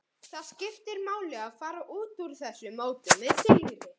Það skiptir máli að fara út úr þessu móti með sigri.